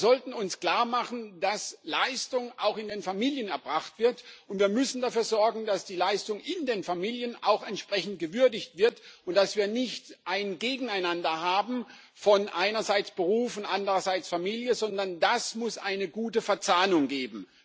Wir sollten uns klar machen, dass Leistung auch in den Familien erbracht wird, und wir müssen dafür sorgen, dass die Leistung in den Familien auch entsprechend gewürdigt wird und dass wir nicht ein Gegeneinander haben von Beruf einerseits und Familie andererseits, sondern dass es eine gute Verzahnung gibt.